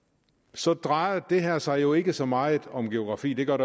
så drejer det her sig jo ikke så meget om geografi det gør